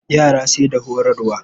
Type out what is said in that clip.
Yara sai da horarwa.